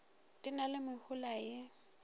di na le mehola ye